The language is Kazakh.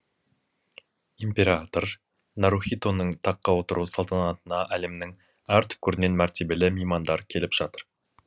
император нарухитоның таққа отыру салтанатына әлемнің әр түкпірінен мәртебелі меймандар келіп жатыр